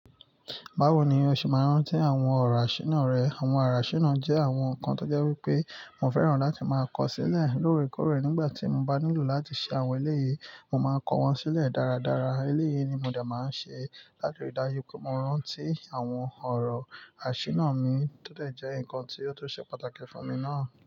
Báwo ni o ṣe máa ń rántí àwọn ọ̀rọ̀ asina rẹ? Àwọn àrà asina náà jẹ́ àwọn nǹkan tó jẹ́ wípé mo fẹ́ràn láti máa kọ sílẹ̀ lóore kóòrè nígbà tí mo bá nílò láti ṣe àwọn eléyìí, mo máa kọ wọ́n sílẹ̀ dáradára. Eléyè ni mo dẹ̀ máa ń ṣe láti ri dájú pe mọ rántí àwọn ọ̀rọ̀ asina mi tó tẹ̀ jẹ́ nǹkan tí ó tún ṣe pàtàkì fún mi náà.